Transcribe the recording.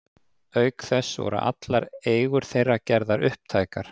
Auk þess voru allar eigur þeirra gerðar upptækar.